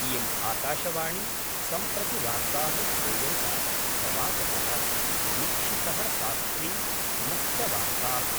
इयम् आकाशवाणी सम्प्रति वार्ताः श्रूयन्ताम् प्रवाचक: निक्षितः शास्त्री मुख्यवार्ता: